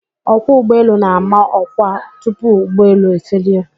Ọkwọ ụgbọelu na-ama ọkwa tupu ụgbọelu efelie.